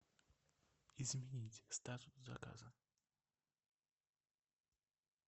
изменить статус заказа